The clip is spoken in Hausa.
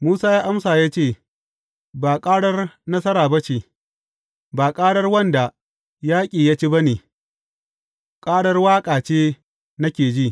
Musa ya amsa ya ce, Ba ƙarar nasara ba ce, ba ƙarar wanda yaƙi ya ci ba ne; ƙarar waƙa ce nake ji.